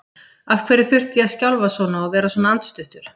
Af hverju þurfti ég að skjálfa svona og vera svona andstuttur?